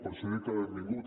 per això dic que benvingut